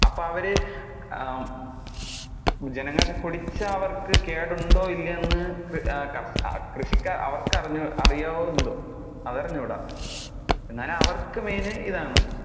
അപ്പോൾ അവര് ആഹ് ജനങ്ങൾക്ക് കുടിച്ചാൽ അവർക്ക് കേടുണ്ടോ ഇല്ലേ എന്ന് ആഹ് കൃ~ കര്‍~ കൃഷി~ അവർക്ക് അ~അറിയാവോ എന്തോ. അത് അറിഞ്ഞുട. എന്നാലും അവര്ക്ക് main ഇതാണ്.